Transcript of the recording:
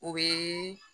O bɛ